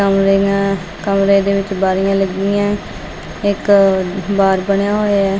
ਕਮਰੇ ਮੇਂ ਕਮਰੇ ਦੇ ਵਿੱਚ ਬਾਰੀਆਂ ਲੱਗੀਐਂ ਇਕ ਬਾਰ ਬਣਿਆ ਹੋਇਆ ਐ।